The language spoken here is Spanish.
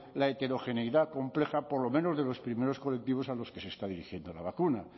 la heterogeneidad compleja por lo menos de los primeros colectivos a los que se está dirigiendo la vacuna